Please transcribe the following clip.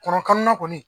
Kɔnɔnan kɔni